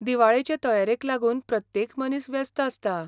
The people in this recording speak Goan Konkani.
दिवाळेचे तयारेक लागून प्रत्येक मनीस व्यस्त आसता.